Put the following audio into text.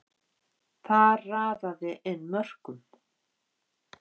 Þar raðaði inn mörkum.